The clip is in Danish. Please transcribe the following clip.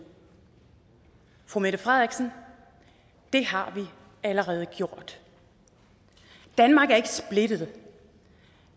fru mette frederiksen det har vi allerede gjort danmark er ikke splittet